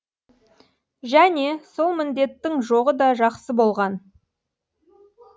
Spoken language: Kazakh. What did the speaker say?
және сол міндеттің жоғы да жақсы болған